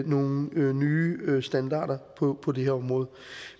nogle nye standarder på det her område